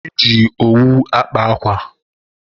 e ji owu akpa akwa.